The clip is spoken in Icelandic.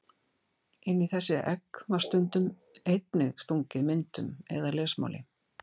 Inn í þessi egg var stundum einnig stungið myndum eða lesmáli.